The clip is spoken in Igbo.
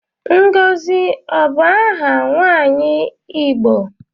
Ngozi ọ bu aha nwaanyi Igbo?